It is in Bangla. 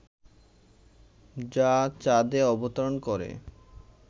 যা চাঁদে অবতরণ করে